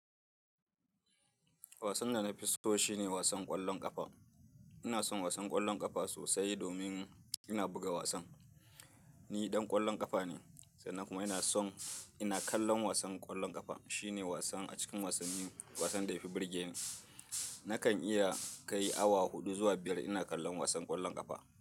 Wasan da na fi so, shi ne wasan ƙwallon ƙafa. Ina son wasan ƙwallon ƙafa sosai domin ina buga wasan. Ni ɗan ƙwallon ƙafa ne, sannan kuma ina son ina kallon wasan ƙwallon ƙafa. Shi ne wasan a cikin wasanni, wasan da ya fi burge ni. Nakan iya kai awa huɗu zuwa biyar ina kallon wasan ƙwallon ƙafa.